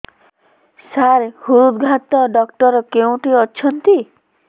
ସାର ହୃଦଘାତ ଡକ୍ଟର କେଉଁଠି ଅଛନ୍ତି